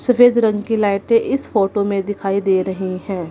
सफेद रंग की लाइटे इस फोटो में दिखाई दे रही हैं।